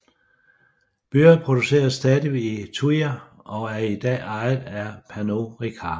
Byrrh produceres stadig i Thuir og er i dag ejet af Pernod Ricard